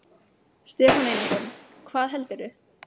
Stefán Einarsson: Hvað heldurðu?